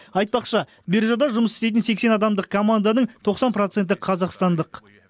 айтпақшы биржада жұмыс істейтін сексен адамдық команданың тоқсан проценті қазақстандық